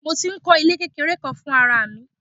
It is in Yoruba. Mo tí ń kó ilé kékeré kan fún ara mi.